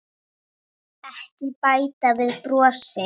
Ekki bæta við brosi.